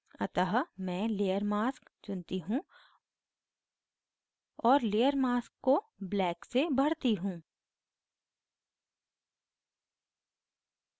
अतः मैं layer mask चुनती choose और layer mask को black से भरती choose